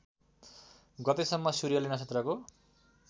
गतेसम्म सूर्यले नक्षत्रको